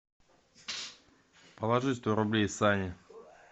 положи сто рублей сане